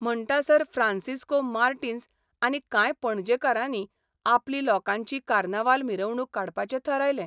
म्हणटासर Francisco Martins आनी कांय पणजेकारांनी आपली लोकांची कार्नावाल मिरवणूक काडपाचें थारायलें.